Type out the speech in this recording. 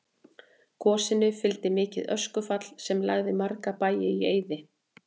Gosinu fylgdi mikið öskufall sem lagði marga bæi í eyði.